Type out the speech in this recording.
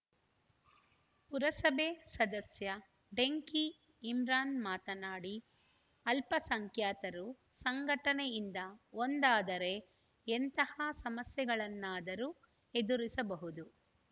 ಪುರಸಭೆ ಸದಸ್ಯ ಡೆಂಕಿ ಇಮ್ರಾನ್‌ ಮಾತನಾಡಿ ಅಲ್ಪಸಂಖ್ಯಾತರು ಸಂಘಟನೆಯಿಂದ ಒಂದಾದರೆ ಎಂತಹ ಸಮಸ್ಯೆಗಳನ್ನಾದರೂ ಎದುರಿಸಬಹುದು